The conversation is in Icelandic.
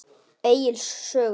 Egils sögu.